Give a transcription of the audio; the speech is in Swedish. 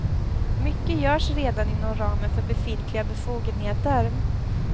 Mycket görs redan inom ramen för befintliga befogenheter.